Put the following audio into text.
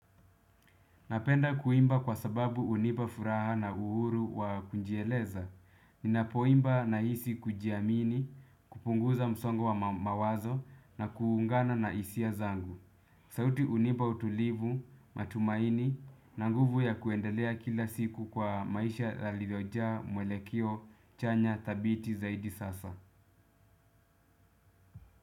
Napenda kuimba kwa sababu hunipa furaha na uhuru wa kujieleza. Ninapoimba nahisi kujiamini, kupunguza msongo wa mawazo na kuungana na hisia zangu. Sauti hunipa utulivu, matumaini na nguvu ya kuendelea kila siku kwa maisha la liloja mwelekeo chanya thabiti zaidi sasa.